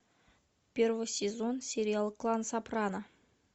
первый сезон сериал клан сопрано